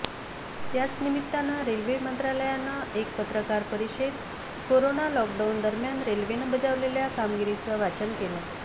याच निमित्तानं रेल्वे मंत्रालयानं एक पत्रकार परिषदेत करोना लॉकडाऊन दरम्यान रेल्वेनं बजावलेल्या कामगिरीचं वाचन केलं